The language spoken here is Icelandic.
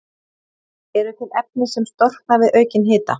Eru til efni sem storkna við aukinn hita?